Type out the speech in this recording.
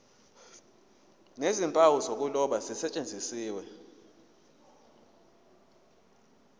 nezimpawu zokuloba zisetshenziswe